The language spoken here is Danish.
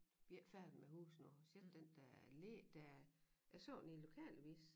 Vi ikke færdige med huse endnu ser du den dér allé der jeg så den i lokalavis